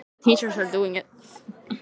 Hafsteinn Hauksson: Hvenær verður það?